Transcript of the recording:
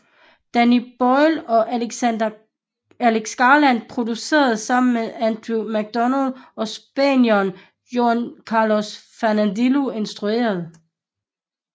Danny Boyle og Alex Garland producerede sammen med Andrew Macdonald og spanieren Juan Carlos Fresnadillo instruerede